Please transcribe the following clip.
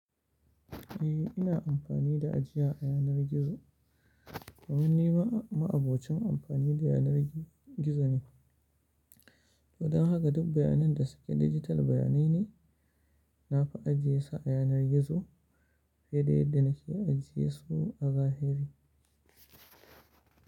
Eh, ina amfani da ajiya a yanar gizo. Dumin ni ma'abocin amfani da yanar gizo ne. Toh don haka duk bayanan da suke digital bayanai ne, na fi ajiyesu a yanar gizo fiye da yadda na ke ajiyesu a zahiri.